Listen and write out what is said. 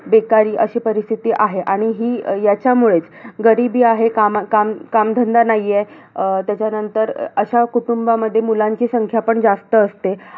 बेकारी अशी परिस्थिती आहे. आणि ही, याच्यामुळेच गरिबी आहे. कामा काम कामधंदा नाहीये अं त्याच्यानंतर अशा कुटुंबामध्ये मुलांची संख्या पण जास्त असते.